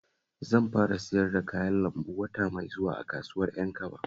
Zan fara siyar da kayan lambu wata mai zuwa a kasuwar Ƴankaba